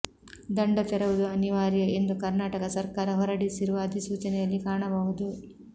ದಂಡ ತೆರವುದು ಅನಿವಾರ್ಯ ಎಂದು ಕರ್ನಾಟಕ ಸರ್ಕಾರ ಹೊರಡಿಸಿರುವ ಅಧಿಸೂಚನೆಯಲ್ಲಿ ಕಾಣಬಹುದು